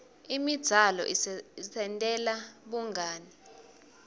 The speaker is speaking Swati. imidzalo isentela bungani